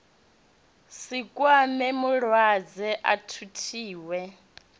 si kwame mulwadze a thuthiwe